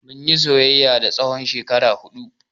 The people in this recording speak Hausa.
Mun yi soyayya na tsawon shekara huɗu.